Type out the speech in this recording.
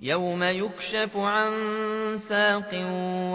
يَوْمَ يُكْشَفُ عَن سَاقٍ